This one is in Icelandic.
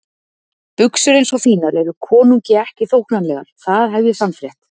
Buxur eins og þínar eru konungi ekki þóknanlegar, það hef ég sannfrétt.